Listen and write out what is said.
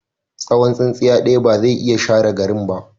Tsawon tsintsiya ɗaya ba zai iya share garin ba.